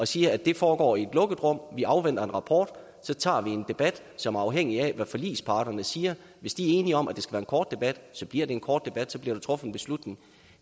siger det foregår i et lukket rum vi afventer en rapport og så tager vi en debat som er afhængig af hvad forligsparterne siger hvis de er enige om at det skal være en kort debat så bliver det en kort debat og så bliver der truffet en beslutning